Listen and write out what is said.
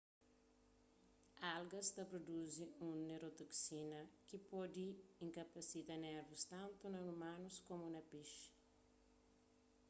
algas ta pruduzi un neurotoksina ki pode inkapasita nervus tantu na umanus komu na pexi